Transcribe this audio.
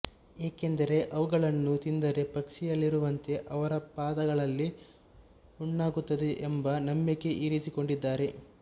ಏಕೆಂದರೆ ಅವುಗಳನ್ನು ತಿಂದರೆ ಪಕ್ಷಿಯಲ್ಲಿರುವಂತೆ ಅವರ ಪಾದಗಳಲ್ಲಿ ಹುಣ್ಣಾಗುತ್ತದೆ ಎಂಬ ನಂಬಿಕೆ ಇರಿಸಿಕೊಂಡಿದ್ದಾರೆ